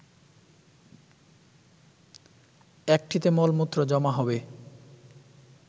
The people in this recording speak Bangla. একটিতে মলমূত্র জমা হবে